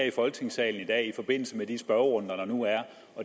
i folketingssalen i dag i forbindelse med de spørgerunder der nu er